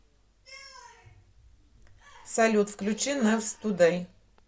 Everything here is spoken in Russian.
салют включи нэвс тудэй